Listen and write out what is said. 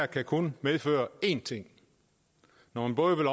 kan kun medføre én ting når man både vil